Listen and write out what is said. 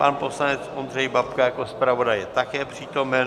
Pan poslanec Ondřej Babka jako zpravodaj je také přítomen.